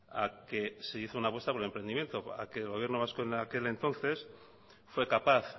a que se hizo una apuesta por el emprendimiento a que el gobierno vasco en aquel entonces fue capaz